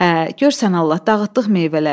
Hə, gör sən Allah, dağıtdıq meyvələri.